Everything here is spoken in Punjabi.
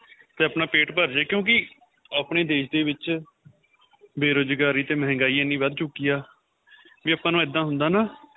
ਤੇ ਆਪਣਾਂ ਪੇਟ ਭਰ ਜਵੇ ਕਿਉਂਕਿ ਆਪਣੇ ਦੇਸ਼ ਦੇ ਵਿੱਚ ਬੇਰੁਜਗਾਰੀ ਤੇ ਮੰਹਿਗਾਈ ਐਨੀ ਵੱਧ ਚੁੱਕੀ ਆਂ ਵੀ ਆਪਾਂ ਨੂੰ ਇਹਦਾ ਹੁੰਦਾ ਨਾ